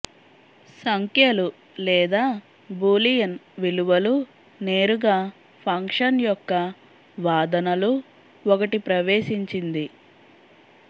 సంఖ్యలు లేదా బూలియన్ విలువలు నేరుగా ఫంక్షన్ యొక్క వాదనలు ఒకటి ప్రవేశించింది